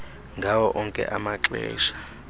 ngawo onke amaxesha